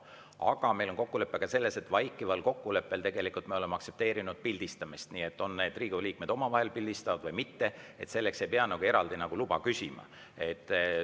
Aga meil on ka vaikiv kokkulepe selles, et tegelikult me oleme aktsepteerinud pildistamist, kui Riigikogu liikmed näiteks omavahel pildistavad, selleks ei pea eraldi luba küsima.